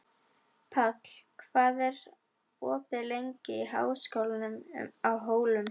Páll, hvað er opið lengi í Háskólanum á Hólum?